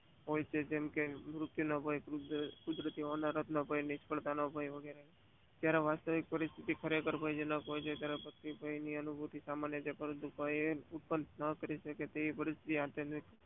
હોય છે. જેમ કે કુદરત ની ભય નિરક્ષણતા ભય વાસ્તવિકતા પરિસ્થિતિ ખરેખર હોય છે. જયારે અનુભવી સામાન્ય રીતે ઉત્પન્ન ના કરી શકે તેવી હોય છે